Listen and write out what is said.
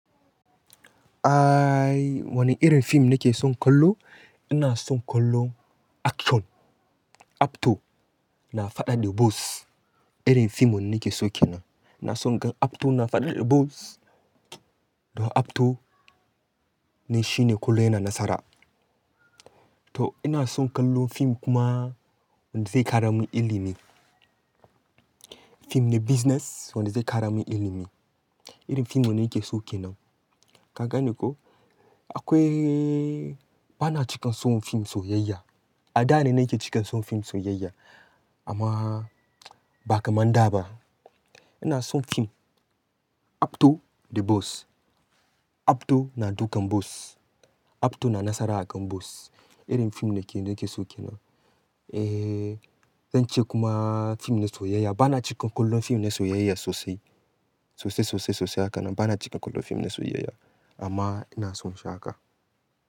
Ai, wane irin fim nake son kallo? Ina son kallo action, Acto na faɗa da bos. Irin fim wanda nake so ke nan. Na son gan Afto na faɗa da bos. Don Afto ne shine kullum yana nasara. To ina son kallo fim kuma wanda zai kara min ilimi. Fim na business wanda zai kara min ilimi. Irin fim wanne nake so ke nan. Ka gane ko? Akwai, bana cikan son fim soyayya. A da ne nake cikan son fim soyayya amma ba kamar da ba. Ina son fim Abto da bos. Afto na dukan bos. Afto na nasara akan bos. Irin fim nake, nake so ke nan. Eh, zan ce kuma fim na soyayya bana cikan kallon fim na soyayya sosai, sosai, sosai, sosai haka nan. Bana cikan kallo fim na soyayya amma ina son sha haka.